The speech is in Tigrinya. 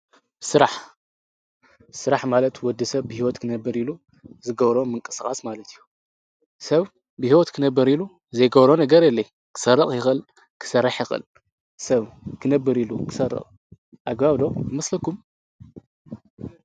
ስራሕ፡- ስራሕ ማለት ወዲ ሰብ ብሂወት ክነብር ኢሉ ዝገብሮ ምንቅስቃስ ማለት እዩ፡፡ ሰብ ብሂወት ክነብር ኢሉ ዘይገብሮ ነገር የለይ፡፡ ክሰርቅ ይኽእል፣ ክሰርሕ ይኽእል ፣ሰብ ክነብር ኢሉ ክሰርቕ ኣግባብ ዶ ይመስለኩም?